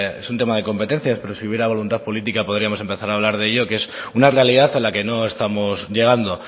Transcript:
es un tema de competencias pero si hubiera voluntad política podríamos empezar a hablar de ello que es una realidad a la que no estamos llegando